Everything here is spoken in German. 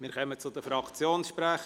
Wir kommen zu den Fraktionssprechern.